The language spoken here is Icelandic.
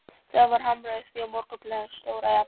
Það var hamrað á því í Morgunblaðinu stóra jafnt sem